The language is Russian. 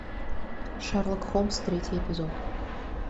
шерлок холмс третий эпизод